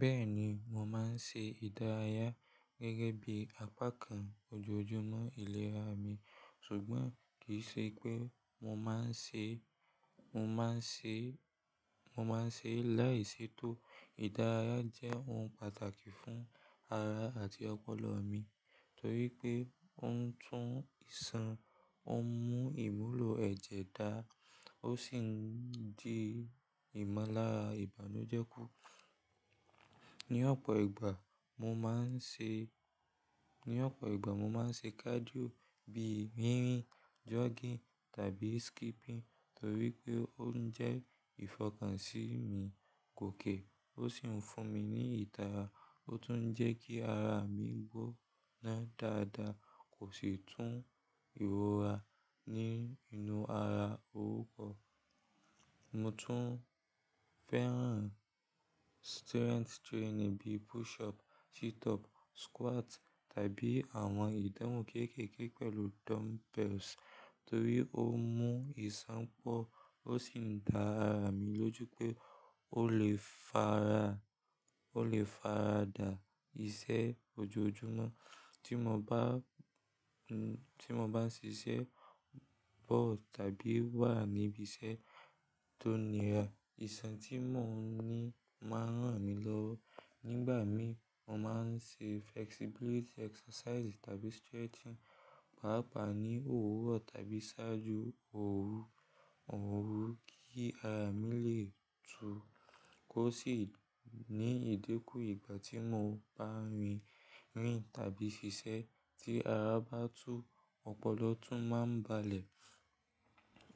Bẹ́ẹ̀ni, mò máa ń ṣe ìdárayá gẹ́gẹ́ bí apá kan ojoojúmọ́ ìlera mi, ṣùgbọ́n kì í ṣe pé mò máa ń ṣe, mò máa ń ṣe, mò máa ń ṣe láìsètò. Ìdárayá jẹ́ ohun pàtàkì fún ara àti ọpọlọ mi torí pé ó ń tún ìsan, ó ń mú ìmúlò ẹ̀jẹ̀ dára, ó sì ń dín ìmọ́lára ìbànújẹ́ kù. Ní ọ̀pọ̀ ìgbà mò máa ń ṣe, ní ọ̀pọ̀ ìgbà mò máa ń ṣe cardio bíi rírìn, jogging tàbí skipping torí pé ó ń jẹ́ ìfọkànsìn mi kòké, ó sì ń fún mi ní ìtara, ó tún ń jẹ́ kí ara mi gbóná dáadáa, kò sì tún ìrora ní inú ara rú pọ̀. Mo tún fẹ́ràn strength training bíi push up, sit up, squat tàbí àwọn ìdánwò kéékèèké pẹ̀lú dumbbells torí ó mú ìsan pọ̀, ó sì ń dá ara mi lójú pé ó lè faradà iṣẹ́ ojoojúmọ́. Tí mò bá, n, tí mò bá ń ṣiṣẹ́ bọ̀ tàbí wà níbi iṣẹ́ tó nira, ìsan tí mò ń ní máa ń ràn mí lọ́wọ́. Nígbà mí, mò máa ń ṣe flexibility exercises tàbí stretching, pàápàá ní òwúrọ̀ tàbí ṣáájú òru, òru kí ara mi lè tu. Kò sì ní ìdínkù ìgbà tí mò ń bá rìn, rìn tàbí ṣiṣẹ́ tí ara bá tú, ọpọlọ tún máa ń balẹ̀.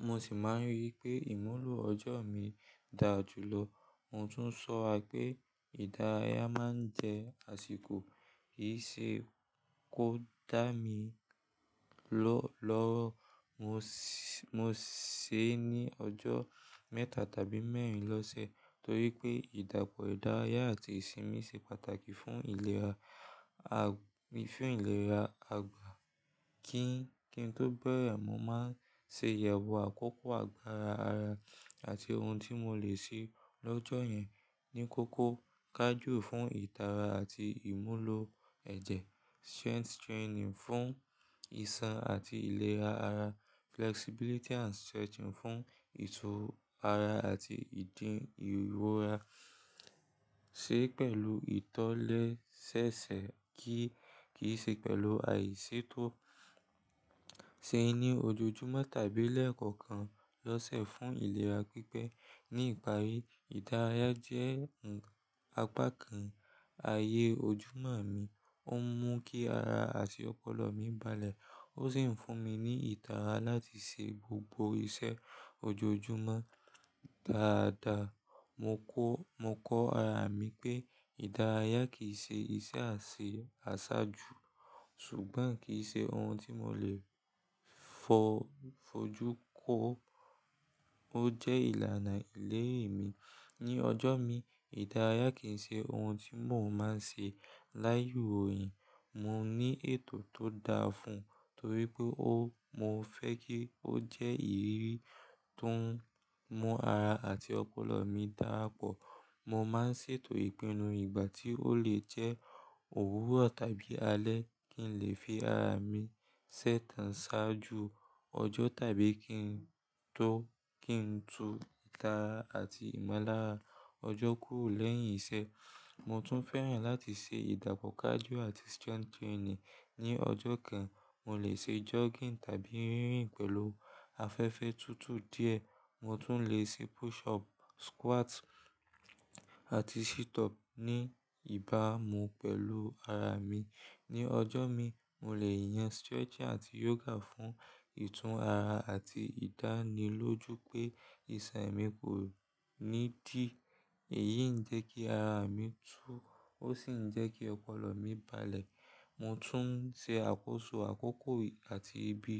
Mo sì máa ń rí pé ìmúlò ọjọ́ mi dà jùlọ. Mo tún sọ a pé ìdárayá máa ń jẹ́ àsìkò, kì í ṣe kó dá mi ló lọ́wọ́. Mo ṣè é ní ọjọ́ mẹ́ta tàbí mẹ́rin lọ́sẹ̀ torí pé ìdàpọ̀ ìdárayá àti ìsinmi ṣe pàtàkì fún ìlera, à, fún ìlera àgbà. Kí, kí n tó bẹ̀rẹ̀, mò máa ṣe ìyẹ̀wò àkókò àgbára ara àti ohun tí mò lè ṣe lọ́jọ́ yẹn. Ní kókó, cardio fún ìtara àti ìmúlò ẹ̀jẹ̀, strength training fún ìsan àti ìlera ara, flexibility and stretching fún ìtú ara àti ìdín ìrora. Ṣe pẹ̀lú ìtọ́lẹ́sẹẹsẹ kí, kì í ṣe pẹ̀lú àìsètò. Se ní ojoojúmọ́ tàbí lẹ́ẹ̀kọ̀kan lọ́sẹ̀ fún ìlera pípẹ́. Ní ìparí, ìdárayá nka jẹ́ apá kan ayé ojúmọ́ mi, ó ń mú kí ara àti ọpọlọ mi balẹ̀, ó sì ń fún mi ní ìtara láti ṣe gbogbo iṣẹ́ ojoojúmọ́ dáadáa. Mo kọ, mo kọ́ ara mi pé ìdárayá kì í ṣe iṣẹ́ àṣe asaju, ṣùgbọ́n kì í ṣe ohun tí mò lè fo fojú kó. Ó jẹ́ ìlànà ìlérí mi. Ní ọjọ́ mi, ìdárayá kì í ṣe ohun tí mò ń máa ń ṣe láyè òòyì. Mo ní ètò tó dáa fún un torí pé ó, mo fẹ́ kí ó jẹ́ ìrírí tó ń mú ara àti ọpọlọ mi darapọ̀. Mo máa ń ṣètò ìpinnu ìgbà tí ó lè jẹ́ òwúrọ̀ tàbí alẹ́ kí n lè fi ara mi ṣẹ́tàn ṣáájú ọjọ́ tàbí kí n tó, kí n tu ìtara àti ìmọ́lára ọjọ́ kúrò lẹ́yìn iṣẹ́. Mo tún fẹ́ràn láti ṣe ìdàpọ̀ cardio àti strength training. Ní ọjọ́ kan, mò lè ṣe jogging tàbí rírìn pẹ̀lú afẹ́fẹ́ tútù díẹ̀. Mo tún lè ṣe push up, squat àti sit up ní ìbámu pẹ̀lú ara mi. Ní ọjọ́ mi, mò lè yàn stretching àti yoga fún ìtún ara àti ìdánilójú pé iṣan mi kò ní dí. Èyí ń jẹ́ kí ara mi tu, ó sì ń jẹ́ kí ọpọlọ mi balẹ̀. Mo tún ṣe àkóso àkókò àti ibi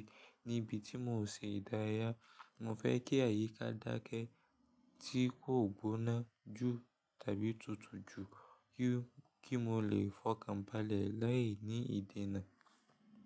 níbi tí mò ṣe ìdárayá. Mo fẹ́ kí àyíká dákẹ́ tí kò gbóná jù tàbí tutù jù kí, kí mò lè fọkàn balẹ̀ lai ni ìdenà.